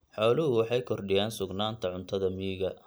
Xooluhu waxay kordhiyaan sugnaanta cuntada miyiga.